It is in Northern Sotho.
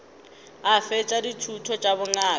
a fetša dithuto tša bongaka